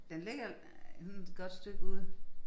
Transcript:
Den ligger øh et godt stykke ude